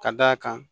Ka d'a kan